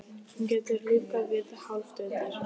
Hún getur lífgað við hálfdauð dýr.